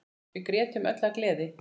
Við grétum öll af gleði.